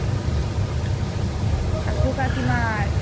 কাকু কাকিমার?